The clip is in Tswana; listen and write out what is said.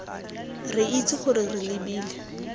re itse gore re lebile